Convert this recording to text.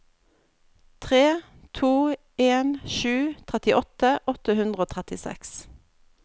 tre to en sju trettiåtte åtte hundre og trettiseks